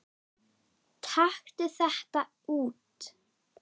Taktu þetta út